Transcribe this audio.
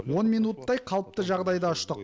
он минуттай қалыпты жағдайда ұштық